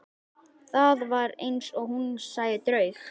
Það var eins og hún sæi draug.